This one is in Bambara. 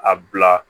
A bila